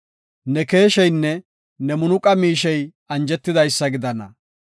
Ne keesheynne ne munaqa miishey anjetidaysa gidana.